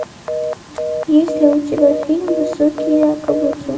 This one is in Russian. есть ли у тебя фильм высокие каблуки